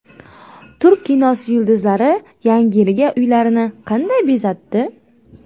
Turk kinosi yulduzlari Yangi yilga uylarini qanday bezatdi?